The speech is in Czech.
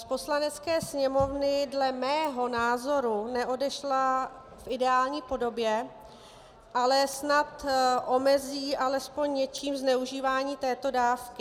Z Poslanecké sněmovny dle mého názoru neodešla v ideální podobě, ale snad omezí alespoň něčím zneužívání této dávky.